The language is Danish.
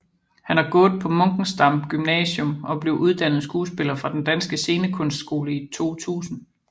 Han har gået på Munkensdam Gymnasium og blev uddannet skuespiller fra Den Danske Scenekunstskole i 2000